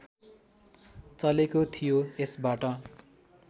चलेको थियो यसबाट